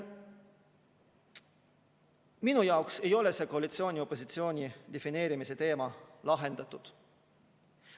Minu jaoks ei ole see koalitsiooni ja opositsiooni defineerimise teema lahendatud.